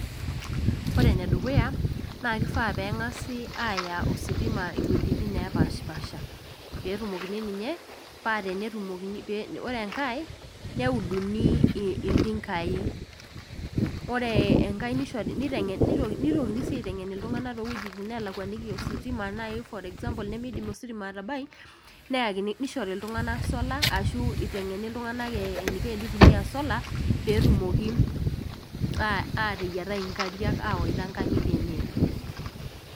Ore enedukuya naa kifaa peng'asi aya ositima iwuejitin nepashipasha petumokini ninye paa tenetumokini ninye ore enkae neuduni iltinkai nishori niteng'e nitokini sii aiteng'en towuejitin nelakuaniki ositima naaji for example naidim ositima atabai neyakin nishori iltung'anak solar ashu iteng'eni iltung'anak eh eninko enitumia solar petumoki aa ateyiatai inkariak awaita inkang'itie enye.